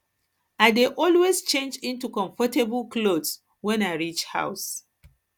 i dey always change into comfortable clothes wans i reach house